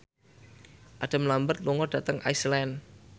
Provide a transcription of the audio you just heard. Adam Lambert lunga dhateng Iceland